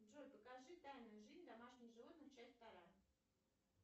джой покажи тайную жизнь домашних животных часть вторая